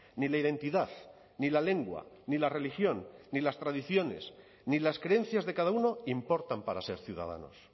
ni la identidad ni la lengua ni la religión ni las tradiciones ni las creencias de cada uno importan para ser ciudadanos